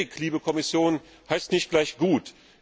Billig, liebe Kommission, heißt nicht gleich gut.